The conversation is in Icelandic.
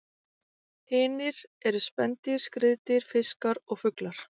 Hinir eru spendýr, skriðdýr, fiskar og fuglar.